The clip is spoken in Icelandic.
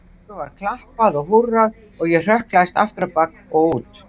Svo var klappað og húrrað og ég hrökklaðist aftur á bak og út.